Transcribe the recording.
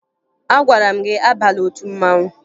Agwara m gị abala otu mmanwụ!